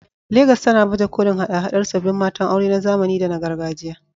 Legas tana baje kolin haɗa-haɗar sabbin matan aure na zamani da na gargajiya